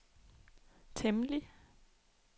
temmelig